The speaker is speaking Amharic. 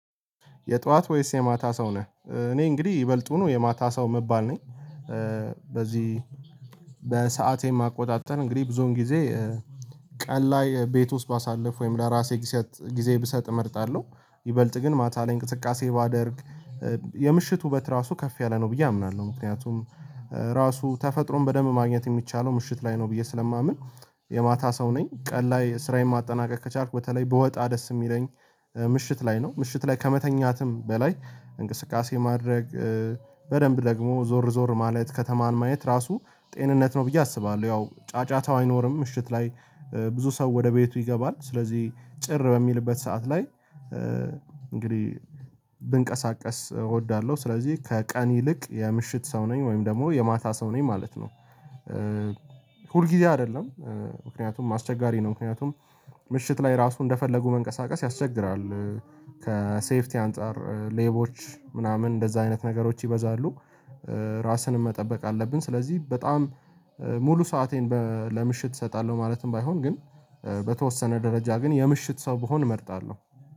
"የጠዋት ወይስ የማታ ሰው ነህ?" እኔ እንግዲህ ይበልጡኑ የማታ ሰው ምባል ነኝ። በዚህ በሰአቴም አቆጣጠር እንግዲህ ብዙውን ጊዜ ቀን ላይ ቤት ውስጥ ባሳልፍ ወይም ለራሴ ግሰጥ ጊዜ ብሰጥ እመርጣለሁ። ይበልጥ ግን ማታ ላይ እንቅስቃሴ ባደርግ የምሽት ውበት ራሱ ከፍ ያለ ነው ብዬ አምናለሁ። ምክንያቱም ራሱ ተፈጥሮን በደንብ ማግኘት የሚቻለው ምሽት ላይ ነው ብዬ ስለማምን፤ የማታ ሰው ነኝ። ቀን ላይ ስራዬን ማጠናቀቅ ከቻልኩ በተለይ ብወጣ ደስ የሚለኝ ምሽት ላይ ነው። ምሽት ላይ ከመተኛትም በላይ እንቅስቃሴ ማድረግ በደንብ ደግሞ ዞር ዞር ማለት ከተማን ማየት ራሱ ጤንነት ነው ብዬ አስባለሁ። ያው ጫጫታው አይኖርም ምሽት ላይ ብዙ ሰው ወደ ቤቱ ይገባል። ስለዚህ ጭር በሚልበት ሰዓት ላይ እንግዲህ ብንቀሳቀስ እወዳለሁ። ስለዚህ ከቀን ይልቅ የምሽት ሰው ነኝ ወይም ደግሞ የማታ ሰው ነኝ ማለት ነው። ሁል ጊዜ አይደለም ምክንያቱም አስቸጋሪ ነው ምክንያቱም ምሽት ላይ ራሱ እንደፈለጉ መንቀሳቀስ ያስቸግራል። ከሴፍቲ አንፃር ሌቦች ምናምን እንደዛ አይነት ነገሮች ይበዛሉ። ራስንም መጠበቅ አለብን ስለዚህ በጣም ሙሉ ሰአቴን በ ለምሽት እሰጣለሁ ማለትም ባይሆን ግን በተወሰነ ደረጃ ግን የምሽት ሰው ብሆን እመርጣለሁ።